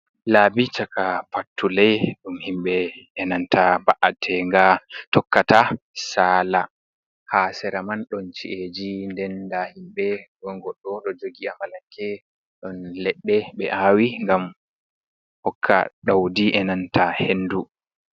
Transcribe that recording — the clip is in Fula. Laabi chaka pattule, ɗum himɓe e nanta ba’ate nga tokkata saala. Ha sera man don chi’eji, nden nda himbe ɗon goɗɗo ɗo jogi amalanke ɗon leɗɗe ɓe aawi ngam hokka daudi e nanta hendu.